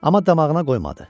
Amma damağına qoymadı.